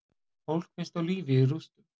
Fólk finnst á lífi í rústum